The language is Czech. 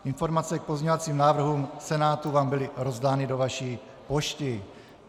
Informace k pozměňovacím návrhům Senátu vám byly rozdány do vaší pošty.